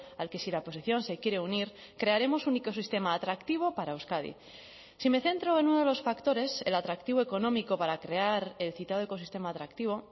al que si la oposición se quiere unir crearemos un ecosistema atractivo para euskadi si me centro en uno de los factores el atractivo económico para crear el citado ecosistema atractivo